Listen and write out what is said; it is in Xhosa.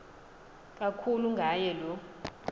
kakhulu ngaye lo